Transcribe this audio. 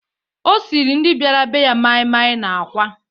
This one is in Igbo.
O siiri ndị bịara be ya maịmaị na àkwá.